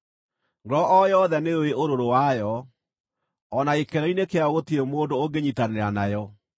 Ngoro o yothe nĩyũũĩ ũrũrũ wayo, o na gĩkeno-inĩ kĩayo gũtirĩ mũndũ ũngĩnyiitanĩra nayo.